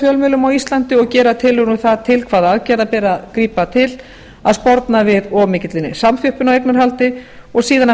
fjölmiðlum á íslandi og gera tillögur um það til hvaða aðgerða beri að grípa til að sporna við of mikilli samþjöppun á eignarhaldi og síðan að